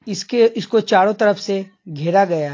इसके इसको चारों तरफ से घेरा गया।